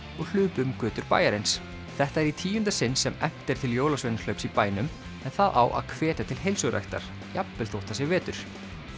og hlupu um götur bæjarins þetta er í tíunda sinn sem efnt er til jólasveinahlaups í bænum en það á að hvetja til heilsuræktar jafnvel þótt það sé vetur